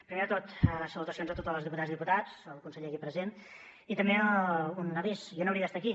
primer de tot salutacions a totes les diputades i diputats al conseller aquí present i també un avís jo no hauria d’estar aquí